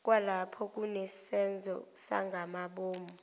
kwalapho kunesenzo sangamabomu